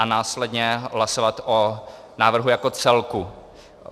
A následně hlasovat o návrhu jako celku.